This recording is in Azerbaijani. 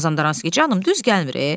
Mazandaranski, canım, düz gəlmir e.